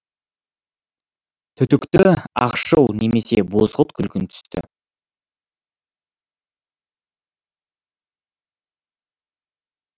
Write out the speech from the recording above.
түтікті ақшыл немесе бозғылт күлгін түсті